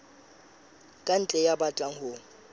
ka ntle ya batlang ho